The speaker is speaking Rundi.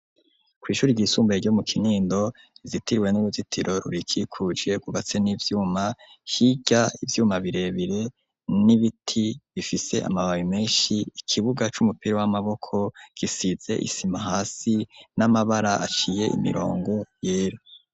Kw'ishuri ryisumbuye ryo mu Kinindo, rizitiriwe n'uruzitiro rurikikuje, rwubatse n'ivyuma; hirya ivyuma birebire, n'ibiti bifise amababi menshi, ikibuga c'umupira w'amaboko, gisize isima hasi, n'amabara aciye imirongo yera.